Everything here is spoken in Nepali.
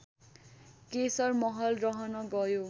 केशरमहल रहन गयो